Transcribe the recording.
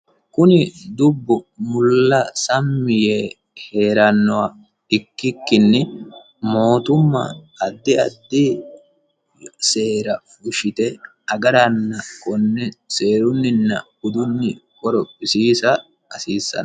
kuni dubbu mulla sammi yee hee'rannowa ikkikkinni mootumma addi addi seera fuushshite agaranna konne seerunninna budunni qoro pisiisa hasiissan